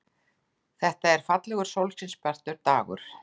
Þetta var fallegur, sólskinsbjartur dagur.